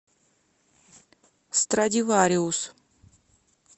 страдивариус